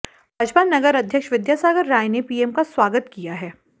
भाजपा नगर अध्यक्ष विद्यासागर राय ने पीएम का स्वागत किया है